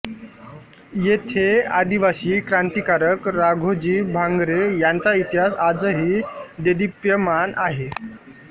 येथे आदिवासी क्रांतिकारक राघोजी भांगरे यांचा इतिहास आजही देदीप्यमान आहे